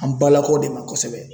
An balakaw de ma kosɛbɛ.